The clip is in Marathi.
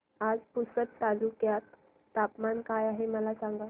आज पुसद तालुक्यात तापमान काय आहे मला सांगा